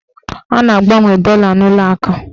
A na-agbanwe dọla n'ụlọakụ